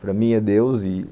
para mim é Deus, e